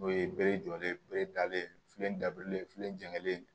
N'o ye bere jɔlen ye bere dalen ye filen dabirilen filen jɛlen don